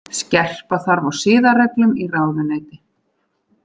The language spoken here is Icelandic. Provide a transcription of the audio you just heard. Skerpa þarf á siðareglum í ráðuneyti